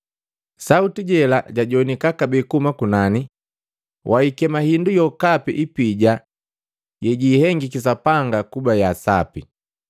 Sauti jela jajowanika kabee kuhuma kunani, ‘Waikema sindu sokapi kipija sejikihengiki Sapanga kuba kisapi.’